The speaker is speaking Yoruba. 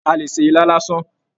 A lè ṣe ilá lásán.